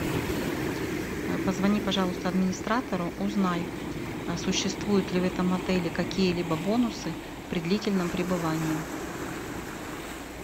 позвони пожалуйста администратору узнай существуют ли в этом отеле какие либо бонусы при длительном пребывании